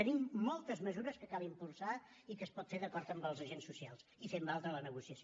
tenim moltes mesures que cal impulsar i que es pot fer d’acord amb els agents socials i fent valdre la negociació